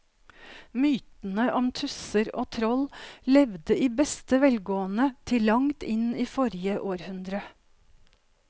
Mytene om tusser og troll levde i beste velgående til langt inn i forrige århundre.